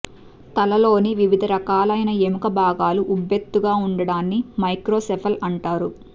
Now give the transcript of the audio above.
తలలోని వివిధ రకాలైన ఎముక భాగాలు ఉబ్బెతుగా ఉండడాన్ని మైక్రోసెఫల్ అంటారు